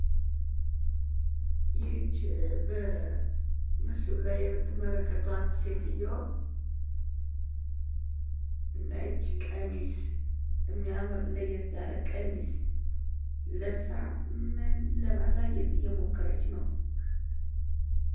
ይች በምስሉ ላይ የምትመለከቷት ሴትዮ ነጭ ቀሚስ እሚያምር ለየት ያለ ቀሚስ ለብሳ ምን ለማሳየት እየሞከረች ነው?